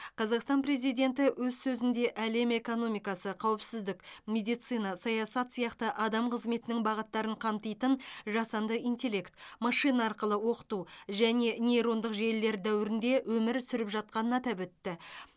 қазақстан президенті өз сөзінде әлем экономика қауіпсіздік медицина саясат сияқты адам қызметінің бағыттарын қамтитын жасанды интеллект машина арқылы оқыту және нейрондық желілер дәуірінде өмір сүріп жатқанын атап өтті